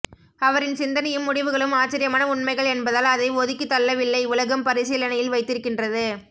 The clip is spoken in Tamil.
அவரின் சிந்தனையும் முடிவுகளும் ஆச்சரியமான உண்மைகள் என்பதால் அதை ஒதுக்கிதள்ளவில்லை உலகம் பரீசிலனையில் வைத்திருக்கின்றது